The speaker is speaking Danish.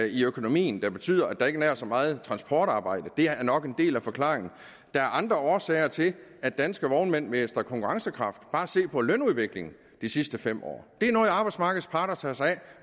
i økonomien der betyder at der ikke er nær så meget transportarbejde det er nok en del af forklaringen der er andre årsager til at danske vognmænd mister konkurrencekraft bare se på lønudviklingen de sidste fem år det er noget arbejdsmarkedets parter tager sig af